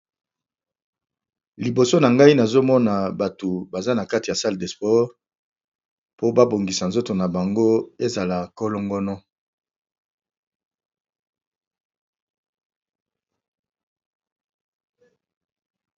Liboso na ngai nazomona bato baza na kati ya sale despore po babongisa nzoto na bango ezala kolongono.